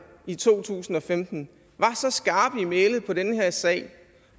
i to tusind og femten var så skarpe i mælet på den her sag